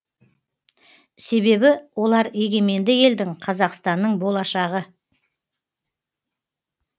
себебі олар егеменді елдің қазақстанның болашағы